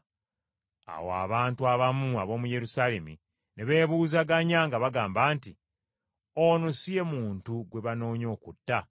Awo abantu abamu ab’omu Yerusaalemi ne beebuuzaganya nga bagamba nti, “Ono si ye muntu gwe banoonya okutta?